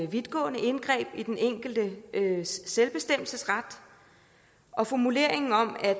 vidtgående indgreb i den enkeltes selvbestemmelsesret og formuleringen om at